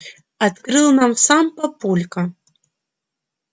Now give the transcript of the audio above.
открыл нам сам папулька